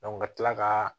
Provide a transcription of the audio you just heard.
ka kila ka